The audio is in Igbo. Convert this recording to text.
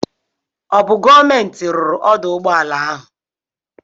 Ọ bụ gọọmenti ruru ọdụ ụgbọala ahụ?